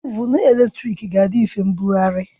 Ovụn eletrik ga-adị mfe mbugharị